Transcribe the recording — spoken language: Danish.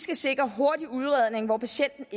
vi sikre en hurtig udredning hvor patienten